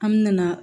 An me na